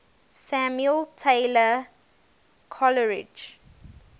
samuel taylor coleridge